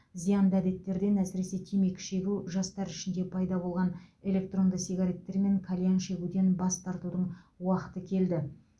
зиянды әдеттерден әсіресе темекі шегу жастар ішінде пайда болған электронды сигареттер мен кальян шегуден бас тартудың уақыты келді